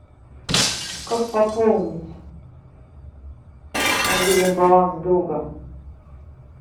как пополнить мобильный баланс друга